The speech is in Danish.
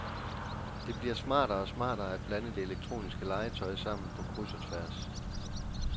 Det bliver smartere og smartere at blande det elektroniske legetøj sammen på kryds og tværs.